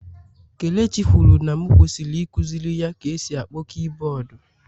Kelechi kwuru na m kwesịrị ikuziri ya ka e si akpọ kiiboodu.